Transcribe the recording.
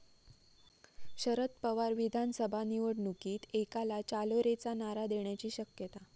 शदर पवार विधानसभा निवडणुकीत 'एकला चालो रे'चा नारा देण्याची शक्यता